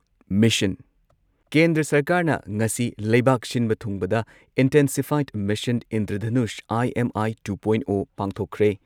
Mission ꯀꯦꯟꯗ꯭ꯔ ꯁꯔꯀꯥꯔꯅ ꯉꯁꯤ ꯂꯩꯕꯥꯛ ꯁꯤꯟꯕ ꯊꯨꯡꯕꯗ ꯏꯟꯇꯦꯟꯁꯤꯐꯥꯏꯗ mission Indradhanush IMI two point o ꯄꯥꯡꯊꯣꯛꯈ꯭ꯔꯦ ꯫